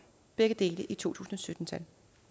begge dele i to tusind og sytten tal